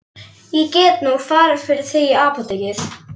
Ég get nú farið fyrir þig í apótekið.